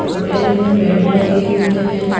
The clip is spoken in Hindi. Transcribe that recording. होटल में बेड लगे हुए हैं।